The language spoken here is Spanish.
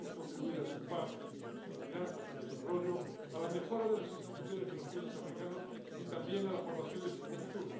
Debemos contribuir a su paz y seguridad, a su desarrollo, a la mejora de las instituciones de los países africanos y también a la formación de su juventud.